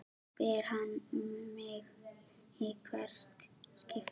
spyr hann mig í hvert skipti.